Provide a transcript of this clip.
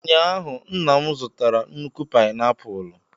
Ụnyaahụ, nna m zụtara nnukwu painiapulu.